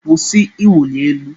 Kwụsị ịwụli elu!